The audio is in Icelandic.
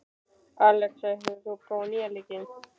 Alexa, hefur þú prófað nýja leikinn?